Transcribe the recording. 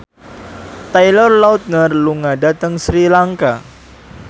Taylor Lautner lunga dhateng Sri Lanka